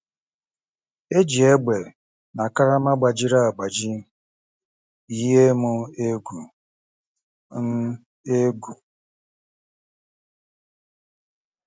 E ji égbè na karama gbajiri agbaji yie m egwu. m egwu.